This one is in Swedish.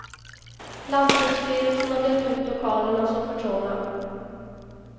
Lantbruksstyrelsen har dömt ut lokalerna som för trånga.